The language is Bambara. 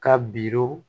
Ka biru